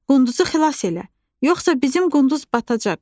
Qunduzu xilas elə, yoxsa bizim qunduz batacaq.